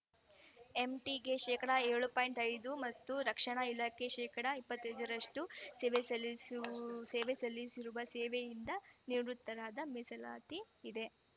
M ಟಿಗೆ ಶೇಕಡಾ ಏಳು ಪಾಯಿಂಟ್ ಐದು ಮತ್ತು ರಕ್ಷಣಾ ಇಲಾಖೆಗೆ ಶೇಕಡಾ ಇಪ್ಪತ್ತ್ ಐದ ರಷ್ಟು ಸೇವೆ ಸಲ್ಲಿಸು ಸೇವೆ ಸಲ್ಲಿಸಿರುವ ಸೇವೆಯಿಂದ ನಿವೃತ್ತರಾದ ಮೀಸಲಾತಿ ಇದೆ